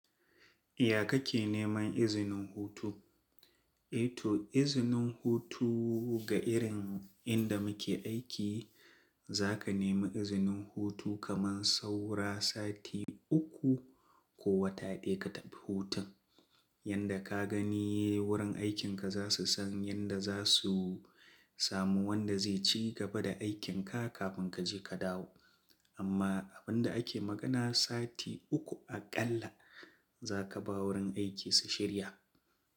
Ya ka ke neman izinin hutu? Eh to izinin hutu ga irin inda muke aiki, za ka nemi izinin hutu kaman saura sati uku ko wata ɗaya ka tafi hutun. Yanda ka gani wurin aikinka za su san yanda za su samu wanda zai ci gaba da aikinka kafin ka je ka dawo. Amma abin da ake magana sati uku aƙalla za ka ba wurin aiki su shirya.